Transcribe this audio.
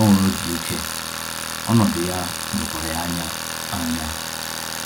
onwere obi ike, ọnọdụ ya dokwara ya anya anya